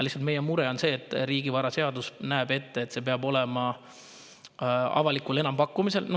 Meie mure on lihtsalt see, et riigivaraseadus näeb ette, et see peab olema avalikul enampakkumisel.